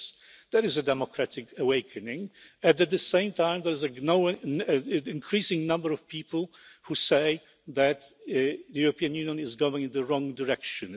Yes, there is a democratic awakening. At the same time, there is an increasing number of people who say that the European Union is going in the wrong direction.